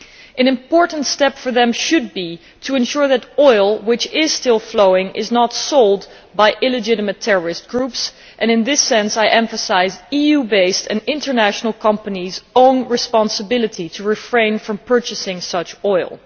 One important step they should take is to ensure that oil which is still flowing is not sold by illegitimate terrorist groups, and in this sense I emphasise EU based and international companies' own responsibility to refrain from purchasing such oil.